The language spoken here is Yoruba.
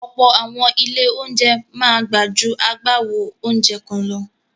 Ọ̀pọ̀ àwọn ilé-oúnjẹ máa gbà ju agbáwo oúnjẹ kan lọ.